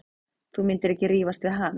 Þú myndir ekki rífast við hann.